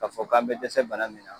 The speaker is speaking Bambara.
Ka fɔ k'an be dɛsɛ bana min na